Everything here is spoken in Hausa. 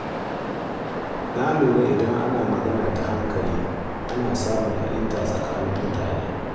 Na lura cewa idan ana yin magana ta hankali, ana samun fahimta tsakanin mutane.